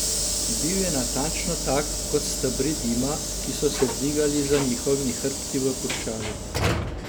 Bil je natančno tak kot stebri dima, ki so se dvigali za njihovimi hrbti v puščavi.